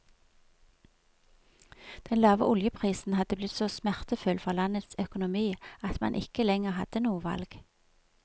Den lave oljeprisen hadde blitt så smertefull for landets økonomi at man ikke lenger hadde noe valg.